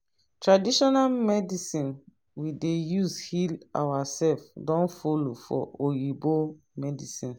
traditional medicine we dey use heal ourself don follow for oyibo medicine